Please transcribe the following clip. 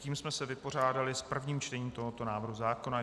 Tím jsme se vypořádali s prvním čtením tohoto návrhu zákona.